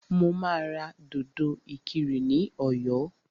Mo máa ra dòdò ìkirè ní ọ̀yọ́